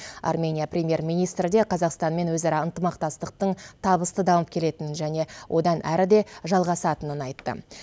армения премьер министрі де қазақстанмен өзара ынтымақтастықтың табысты дамып келетінін және одан әрі де жалғасатынын айтты